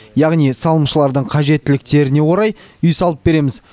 яғни салымшылардың қажеттіліктеріне орай үй салып береміз